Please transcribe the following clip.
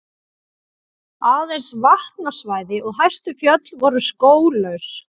Aðeins vatnasvæði og hæstu fjöll voru skóglaus.